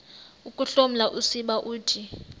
ukuhloma usiba uthi